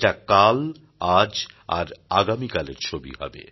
এটা কাল আজ আর আগামীকালের ছবি হবে